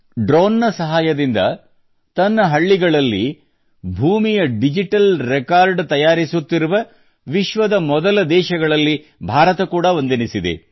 drone ನ ಸಹಾಯದಿಂದ ತನ್ನ ಹಳ್ಳಿಗಳಲ್ಲಿ ಭೂಮಿಯ ಡಿಜಿಟಲ್ ರೆಕಾರ್ಡ್ ತಯಾರಿಸುತ್ತಿರುವ ವಿಶ್ವದ ಮೊದಲ ದೇಶಗಳಲ್ಲಿ ಭಾರತ ಕೂಡಾ ಒಂದೆನಿಸಿದೆ